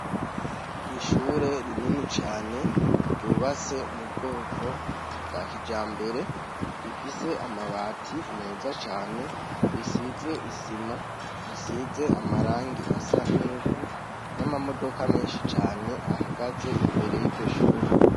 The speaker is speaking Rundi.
Ishure rinini cane ryubase mu bwoko bwa kija mbere rifise amabati meza cane risize isima risize amarangi asa n'ivu n'amamodoka menshi cane ahagaze imbere y'iryo shure.